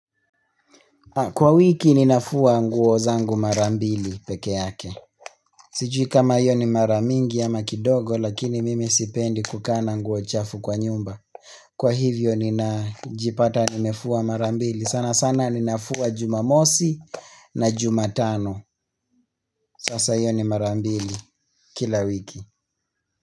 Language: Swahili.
Kwa wiki ninafua nguo zangu mara mbili pekeake Sijui kama hio ni mara mingi ama kidogo lakini mimi sipendi kukaa na nguo chafu kwa nyumba Kwa hivyo ninajipata nimefua marambili sana sana ninafua jumamosi na jumatano Sasa yoni marambili kila wiki.